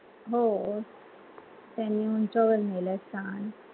हो त्यांनी उंचयावर नेहल्यात स्थान